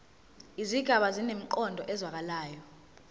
izigaba zinemiqondo ezwakalayo